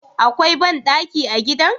Akwai bandaki a gidan?